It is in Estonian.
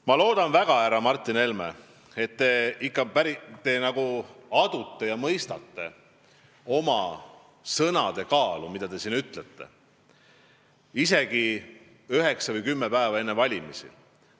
Ma loodan väga, härra Martin Helme, et te ikka päriselt adute oma sõnade kaalu, mida te siin maha ütlete kümmekond päeva enne valimisi.